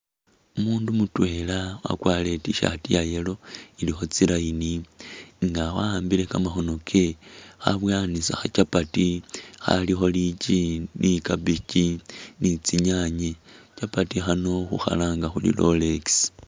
Umundu mutwela wakwalire i't-shirt ya yellow ililkho tsi'line nga wawambile kamakhoono ke khabowanisa khachapati khalikho lichi ni cabichi ni tsinyanye, chapati khano khukhalanga khuri rolex